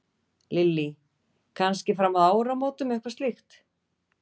Lillý: Kannski fram að áramótum eitthvað slíkt?